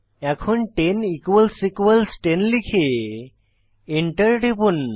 এখন 10 equals equals 10 লিখে enter টিপুন